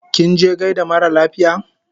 Kinje gaida mara lafiya?